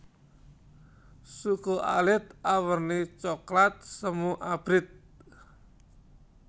Suku alit awerni coklat semu abrit